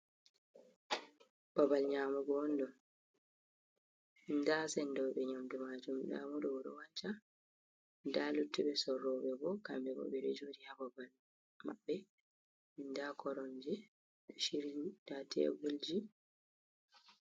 Babbal nyamugo on ɗo, nda sendo ɓe nyamdu majum nda mo ɗo oɗo wanca, da luttuɓe sorro ɓe bo kamɓe bo ɓe ɗo jori ha babal maɓɓe nda koromje ɗo shiryi, nda televljin.